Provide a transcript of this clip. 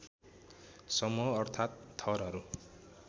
समूह अर्थात् थरहरू